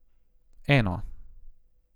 Eno.